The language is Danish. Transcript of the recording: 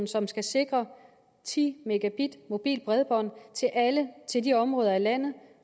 som skal sikre ti mbit mobilt bredbånd til alle i de områder af landet